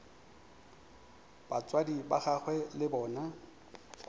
batswadi ba gagwe le bona